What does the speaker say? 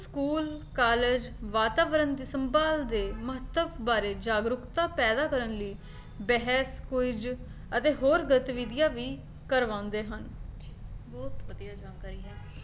school college ਵਾਤਾਵਰਨ ਦੀ ਸੰਭਾਲ ਦੇ ਮਹੱਤਵ ਬਾਰੇ ਜਾਗਰੂਕਤਾ ਪੈਦਾ ਕਰਨ ਲਈ bear clause ਅਤੇ ਹੋਰ ਗਤੀਵਿਧੀਆਂ ਵੀ ਕਰਵਾਉਂਦੇ ਹਨ ਬਹੁਤ ਵਧੀਆ ਜਾਣਕਾਰੀ ਹੈ